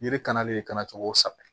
Yiri kalalen kana cogo saba